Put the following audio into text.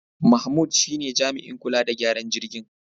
Mahmud shine jami'in kula da gyaran jirgin.